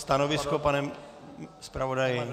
Stanovisko, pane zpravodaji.